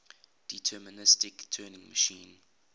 deterministic turing machine